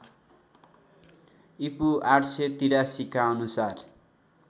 ईपू ८८३ का अनुसार